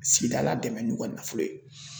Sigida ladɛmɛ n'u ka nafolo ye